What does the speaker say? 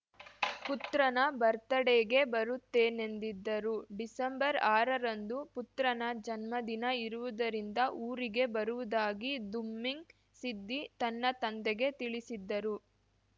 ಪುತ್ರನ ಬತ್‌ರ್‍ಡೇಗೆ ಬರುತ್ತೇನೆಂದಿದ್ದರು ಡಿಸೆಂಬರ್ಆರರಂದು ಪುತ್ರನ ಜನ್ಮದಿನ ಇರುವುದರಿಂದ ಊರಿಗೆ ಬರುವುದಾಗಿ ದುಮ್ಮಿಂಗ್‌ ಸಿದ್ದಿ ತನ್ನ ತಂದೆಗೆ ತಿಳಿಸಿದ್ದರು